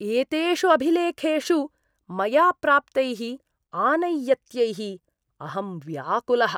एतेषु अभिलेखेषु मया प्राप्तैः आनैयत्यैः अहं व्याकुलः।